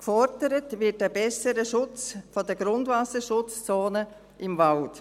Gefordert wird ein besserer Schutz der Grundwasserschutzzonen im Wald.